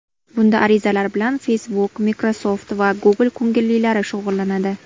Bunda arizalar bilan Facebook, Microsoft va Google ko‘ngillilari shug‘ullanadi.